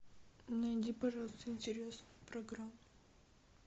найди пожалуйста интересную программу